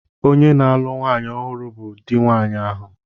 Onye na-alụ nwanyị ọhụrụ bụ di nwanyị ahụ.